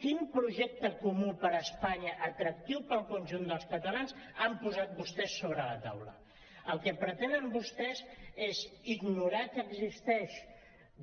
quin projecte comú per a espanya atractiu per al conjunt dels catalans han posat vostès sobre taula el que pretenen vostès és ignorar que existeixen